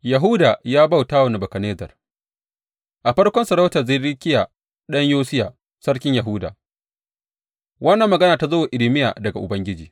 Yahuda ya bauta wa Nebukadnezzar A farkon sarautar Zedekiya ɗan Yosiya sarkin Yahuda, wannan magana ta zo wa Irmiya daga Ubangiji.